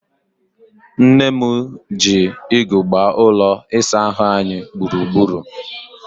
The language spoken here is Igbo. Nne m ji igu gbaa ụlọ isaahụ anyị gburugburu.